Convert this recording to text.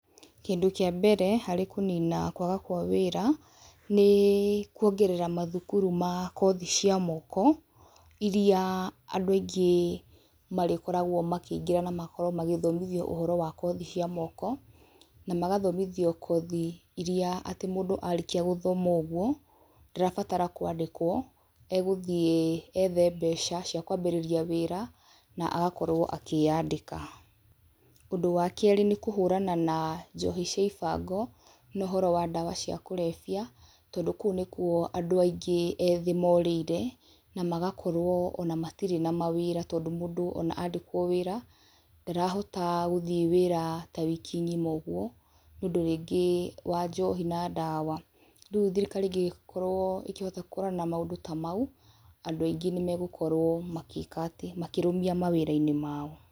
Kĩndũ kĩa mbere harĩ kũnina kwaga kwa wĩra, nĩ kuongerera mathukuru ma kothi cia moko, iria andũ aingĩ marĩkoragwo makĩingĩra na makorwo magĩthomithia ũhoro wa kothi cia moko, na magathomithio kothi iria atĩ mũndũ arĩkĩa gũthoma ũguo, ndarabatara kwandĩkwo, egũthiĩ ethe mbeca cia kwambĩrĩria wĩra, na agakorwo akĩyandĩka, ũndũ wa kerĩ nĩ kũhũrana na njohi cia ibango, nohoro wa ndawa cia kũrebia, tondũ kou nĩkuo andũ aingĩ ethĩ morĩire, namagakorwo ona matirĩ na mawĩra, tondũ mũndũ ona andĩkwo wĩra, ndarahota gũthiĩ wĩra ta wiki ng'ima ũguo, nĩ ũndĩ rĩngĩ wa njohi na ndawa, rĩu thirikari ĩngĩkorwo ĩkĩhota kũhũrana na maũndũ ta mau, andũ aingĩ nĩ megũkorwo magĩka atĩ, makĩrũmia mawĩra-inĩ mao.